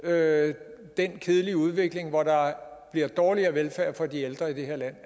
at den kedelige udvikling hvor der bliver dårligere velfærd for de ældre i det her land